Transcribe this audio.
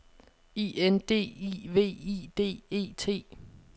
I N D I V I D E T